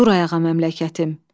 Dur ayağa məmləkətim.